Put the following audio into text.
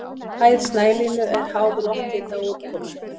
Hæð snælínu er háð lofthita og úrkomu.